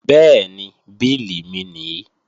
Bẹ́ẹ̀ni, bílì mi nìí